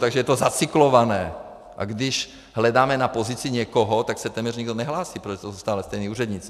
Takže je to zacyklované, a když hledáme na pozici někoho, tak se téměř nikdo nehlásí, protože to jsou stále stejní úředníci.